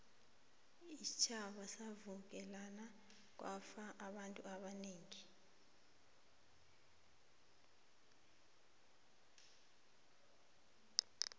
iintjhaba zavukelana kwafa abantu abanengi